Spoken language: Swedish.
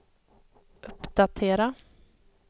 uppdatera